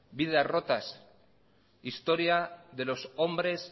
vidas rotas historia de los hombres